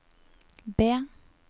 B